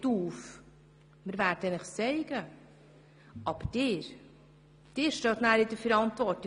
» Wir werden Ihnen schon etwas aufzeigen, aber Sie stehen dann in der Verantwortung.